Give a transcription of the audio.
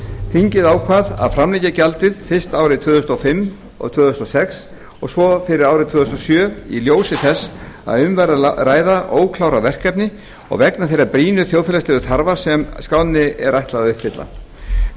þingið ákvað að framlengja gjaldið fyrst fyrir árin tvö þúsund og fimm og tvö þúsund og sex og svo fyrir árið tvö þúsund og sjö í ljósi þess að um væri að ræða óklárað verkefni og vegna þeirra brýnu þjóðfélagslegu þarfa sem skránni er ætlað að uppfylla um